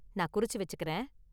நான் குறிச்சு வச்சுக்கிறேன்.